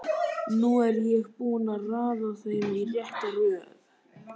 Nú er ég búinn að raða þeim í rétta röð.